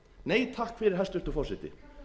nei takk fyrir hæstvirtur forseti